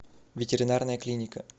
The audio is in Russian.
ветеринарная клиника